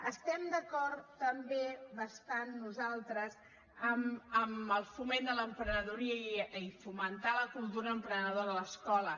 estem d’acord també bastant nosaltres amb el foment de l’emprenedoria i fomentar la cultura emprenedora a l’escola